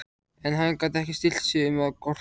En hann gat ekki stillt sig um að gorta.